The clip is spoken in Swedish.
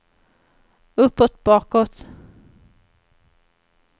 uppåt bakåt